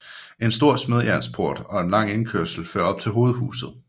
En stor smedejernsport og en lang indkørsel fører op til hovedhuset